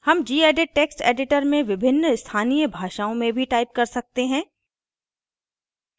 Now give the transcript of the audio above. हम gedit text editor में विभिन्न स्थानीय भाषाओँ में भी type कर सकते हैं